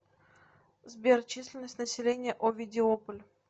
сбер численность населения овидиополь